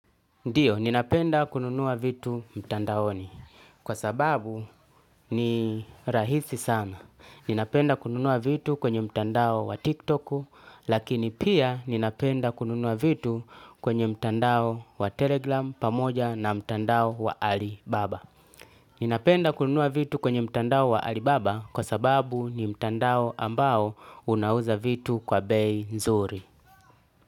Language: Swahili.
Ndio, ninapenda kununua vitu mtandaoni. Kwa sababu ni rahisi sana. Ninapenda kununua vitu kwenye mtandao wa tiktok, lakini pia ninapenda kununua vitu kwenye mtandao wa telegram pamoja na mtandao wa alibaba. Ninapenda kununua vitu kwenye mtandao wa alibaba kwa sababu ni mtandao ambao unauza vitu kwa bei nzuri.